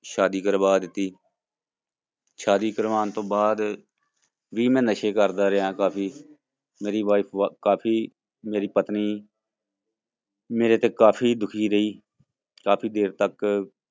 ਸ਼ਾਦੀ ਕਰਵਾ ਦਿੱਤੀ ਸ਼ਾਦੀ ਕਰਵਾਉਣ ਤੋਂ ਬਾਅਦ ਵੀ ਮੈਂ ਨਸ਼ੇ ਕਰਦਾ ਰਿਹਾ ਕਾਫ਼ੀ, ਮੇਰੀ wife ਵ ਕਾਫ਼ੀ ਮੇਰੀ ਪਤਨੀ ਮੇਰੇ ਤੇ ਕਾਫ਼ੀ ਦੁੱਖੀ ਰਹੀ, ਕਾਫ਼ੀ ਦੇਰ ਤੱਕ